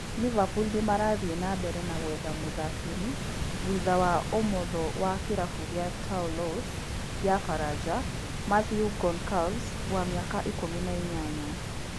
Liverpool nĩmarathiĩ na mbere na gwetha mũthakĩri thutha wa ũmotho wa kĩrabu gĩa Toulouse ya baranja Mathieu Goncalves, wa miaka ikùmi na inyanya.